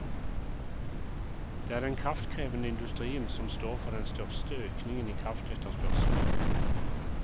Det er den kraftkrevende industrien som står for den største økningen i kraftetterspørselen.